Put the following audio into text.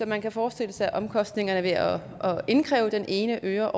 man kan forestille sig at omkostningerne ved at indkræve den ene øre